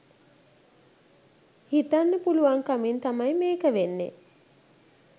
හිතන්න පුළුවන්කමින් තමයි මේක වෙන්නෙ.